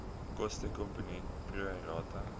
kostekomponent pro rata